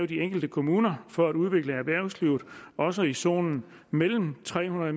de enkelte kommuner for at udvikle erhvervslivet også i zonen mellem tre hundrede